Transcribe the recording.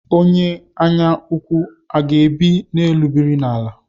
Onye anya ukwu, I ga-ebi n'elu biri n'ala?